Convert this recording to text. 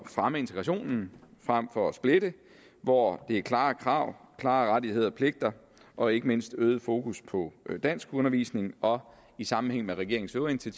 at fremme integrationen frem for at splitte og hvor det er klare krav klare rettigheder og pligter og ikke mindst øget fokus på danskundervisning og i sammenhæng med regeringens øvrige